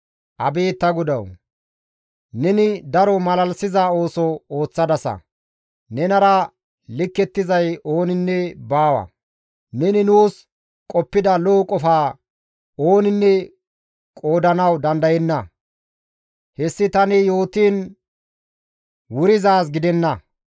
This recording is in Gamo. Abeet ta GODAWU! Neni daro malalisiza ooso ooththadasa; nenara likkettizay ooninne baawa! Neni nuus qoppida lo7o qofa ooninne qoodanawu dandayenna; hessi tani yootiin wurizaaz gidenna.